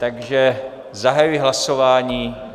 Takže zahajuji hlasování.